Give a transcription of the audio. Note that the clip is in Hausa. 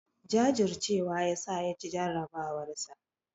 Jajurcewa yasa ya ci jarabawarsa.